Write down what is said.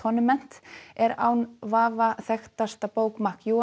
Atonement er án vafa þekktasta bók